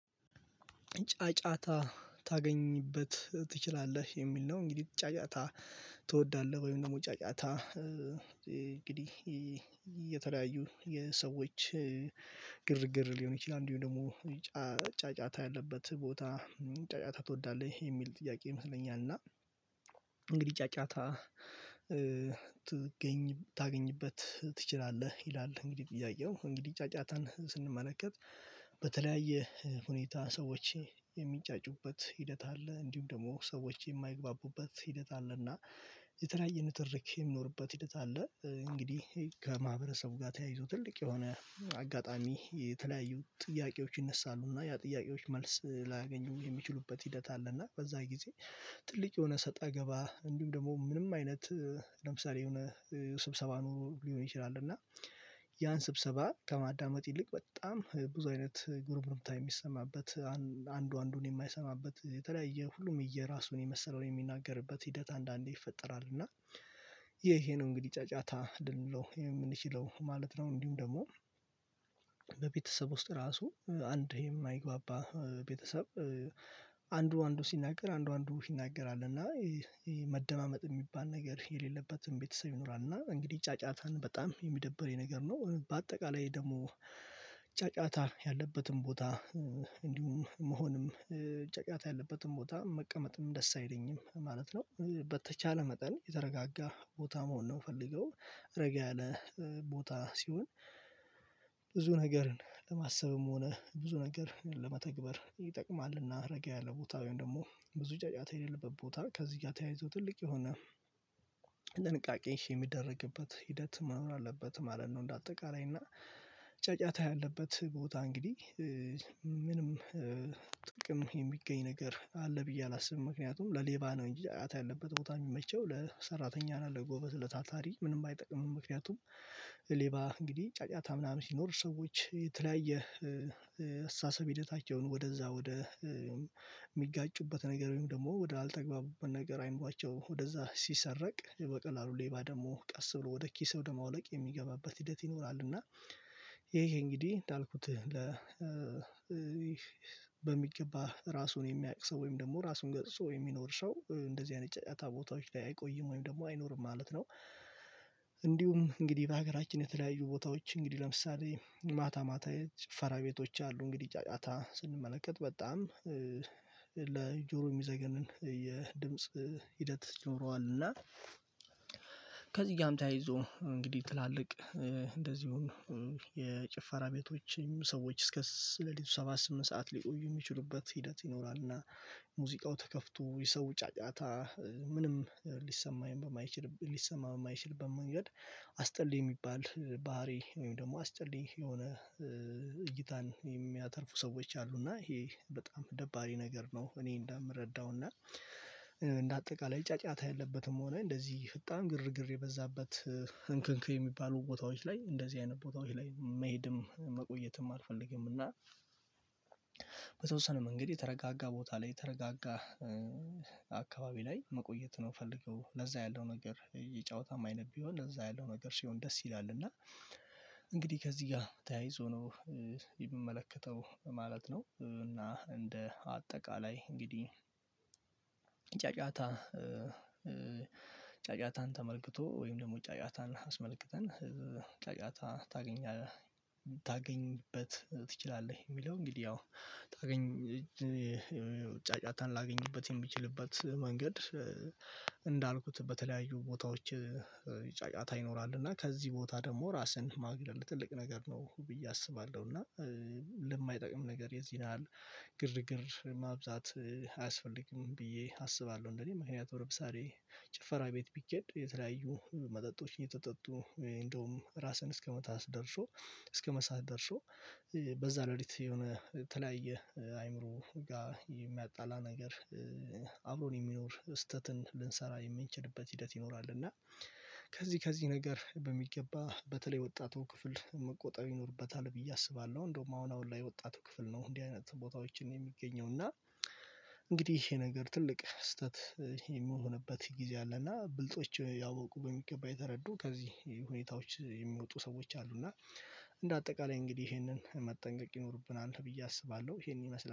ጫጫታ ታገኝበት ትችላለህ የሚል ነው። እንግዲህ ጫጫታ ትወዳለህ ወይም ደግሞ ጫጫታ እንግዲህ የተለያዩ የሰዎች ግርግር ሊሆን ይችላል። እንዲሁም ደግሞ ጫጫታ ያለበት ቦታ ጫጫታ ትወዳለህ ሚል ጥያቄ ይመስለኛል። እና እንግዲህ ጫጫታ ትገኝ ታገኝበት ትችላለህ ይላል እንግዲህ ጥያቄ እንግዲህ ጫጫታን ስንመለከት በተለያየ ሁኔታ ሰዎች የሚጫጩበት ሂደት አለ። እንዲሁም ደግሞ ሰዎች የማይግባቡበት ሂደት አለና የተለያየ ንትርክ የሚኖርበት ሂደት አለ። እንግዲህ ከማህበረሰቡ ጋር ተያይዞ ትልቅ የሆነ አጋጣሚ የተለያዩ ጥያቄዎች ይነሳሉ እና ያ ጥያቄዎች መልስ ላያገኙበት የሚችሉበት ሂደት አለ። እና በዛ ጊዜ ትልቅ የሆነ ሰጣ ገባ እንዲሁም ደግሞ ምንም አይነት ለምሳሌ የሆነ ስብሰባ ኑሮ ሊሆን ይችላል። እና ያን ስብሰባ ከማዳመጥ ይልቅ በጣም ብዙ አይነት ጉርምርታ የሚሰማበት አለና አንዱ አንዱን የማይሰማበት የተለያየ ሁሉም የየራሱን የመሰለውን የሚናገርበት ሂደት አንዳንዴ ይፈጠራል። እና ይሄ ነው እንግዲህ ጫጫታ ልንለው የምንችለው ማለት ነው። እንዲሁም ደግሞ በቤተሰብ ውስጥ ራሱ አንድ የማይግባባ ቤተሰብ አንዱ አንዱ ሲናገር አንዱ አንዱ ይናገራል እና መደማመጥ የሚባል ነገር የሌለበትም ቤተሰብ ይኖራል። እና እንግዲህ ጫጫታን በጣም የሚደብሬ ነገር ነው። በአጠቃላይ ደግሞ ጫጫታ ያለበትን ቦታ እንዲሁም መሆንም ጨጫታ ያለበትን ቦታ መቀመጥም ደስ አይለኝም ማለት ነው። በተቻለ መጠን የተረጋጋ ቦታ መሆን ነው የምፈልገው ረጋ ያለ ቦታ ሲሆን ብዙ ነገርን ለማሰብም ሆነ ብዙ ነገር ለመተግበር ይጠቅማልና። ረጋ ያለ ቦታውን ደግሞ ብዙ ጫጫታ የሌለበት ቦታ ከዚህ ጋር ተያይዞ ትልቅ የሆነ ድንቃቄ የሚደረግበት ሂደት መኖር አለበት ማለት ነው። እንደ አጠቃላይ እና ጫጫታ ያለበት ቦታ እንግዲህ ምንም ጥቅም የሚገኝ ነገር አለ ብዬ አላስብም። ምክንያቱም ለሌባ ነው እንጂ አያት ያለበት ቦታ የሚመቸው ለሰራተኛና ለጎበዝ ለታታሪ ምንም አይጠቅምም ምክንያቱም ሌባ እንግዲህ ጫጫታ ምናምን ሲኖር ሰዎች የተለያየ አስተሳሰብ ሂደታቸውን ወደዛ ወደ የሚጋጩበት ነገር ወይም ደግሞ ወደ አልተግባቡበት ነገር አይምሯቸው ወደዛ ሲሰረቅ በቀላሉ ሌባ ደግሞ ቀስ ብሎ ወደ ኪሳራ ወደ ማውለቅ የሚገባበት ሂደት ይኖራል። እና ይሄ እንግዲህ እንዳልኩት ለ በሚገባ ራሱን የሚያውቅ ሰው ወይም ደግሞ ራሱን ገስጾ የሚኖር ሰው እንደዚህ አይነት ጫጫታ ቦታዎች ላይ አይቆይም ወይም ደግሞ አይኖርም ማለት ነው። እንዲሁም እንግዲህ በሀገራችን የተለያዩ ቦታዎች እንግዲህ ለምሳሌ ማታ ማታ ጭፈራ ቤቶች አሉ እንግዲህ ጫጫታ ስንመለከት በጣም ለጆሮ የሚዘገንን የድምጽ ሂደት ይኖረዋል እና ከዚህ ጋም ይዞ እንግዲህ ትላልቅ እንደዚሁም የጭፈራ ቤቶችም ሰዎች እስከ ለሊቱ ሰባ ስምንት ሰዓት ሊቆዩ የሚችሉበት ሂደት ይኖራል። እና ሙዚቃው ተከፍቶ የሰው ጫጫታ ምንም ሊሰማኝ ሊሰማ በማይችልበት መንገድ አስጠልይ የሚባል ባህሪ ወይም ደግሞ አስጠልይ የሆነ እይታን የሚያተርፉ ሰዎች አሉ እና ይሄ በጣም ደባሪ ነገር ነው። እኔ እንደምረዳው እና አጠቃላይ ጫጫታ ያለበትም ሆነ እንደዚህ ፈጣን ግርግር የበዛበት እንክንክ የሚባሉ ቦታዎች ላይ እንደዚህ አይነት ቦታዎች ላይ መሄድም መቆየትም አልፈልግም። እና በተወሰነ መንገድ የተረጋጋ ቦታ ላይ የተረጋጋ አካባቢ ላይ መቆየት ነው የፈለገው ለዛ ያለው ነገር የጨዋታም አይነት ቢሆን እዛ ያለው ነገር ሲሆን ደስ ይላል እና እንግዲህ ከዚህ ጋር ተያይዞ የምመለከተው ማለት ነው። እና እንደ አጠቃላይ እንግዲህ ጫጫታ ጫጫታን ተመልክቶ ወይም ደግሞ ጫጫታን አስመልክተን ጫጫታ ታገኛለህ ታገኝበት ትችላለህ የሚለው እንግዲህ ያው ታገኝ ጫጫታን ላገኝበት የሚችልበት መንገድ እንዳልኩት በተለያዩ ቦታዎች ይጫጫታ ይኖራል እና ከዚህ ቦታ ደግሞ ራስህን ማግለል ትልቅ ነገር ነው ብዬ አስባለሁ። እና ለማይጠቅም ነገር የዚህ ያህል ግርግር ማብዛት አያስፈልግም ብዬ አስባለሁ እንደኔ ማለት ነው። ርብሳሬ ጭፈራ ቤት ቢኬድ የተለያዩ መጠጦችን እየተጠጡ እንደውም ራስህን እስከመጣስ ደርሶ እስከ መሳት ደርሶ በዛ ለሊት የሆነ የተለያየ አይምሮ ጋር የሚያጣላ ነገር አብሮን የሚኖር ስህተትን ልንሰራ የምንችልበት ሂደት ይኖራል። እና ከዚህ ከዚህ ነገር በሚገባ በተለይ ወጣቱ ክፍል መቆጠብ ይኖርበታል ብዬ አስባለሁ እንደውም አሁን ላይ ወጣቱ ክፍል ነው። እንዲህ አይነት ቦታዎችን የሚገኘው እና እንግዲህ ይሄ ነገር ትልቅ ስህተት የሚሆንበት ጊዜ አለ እና ብልጦች ያወቁ በሚገባ የተረዱ ከዚህ ሁኔታዎች የሚወጡ ሰዎች አሉ። እና እንደ አጠቃላይ እንግዲህ ይሄንን መጠንቀቅ ይኖርብናል ብዬ አስባለሁ ይሄን ይመስላል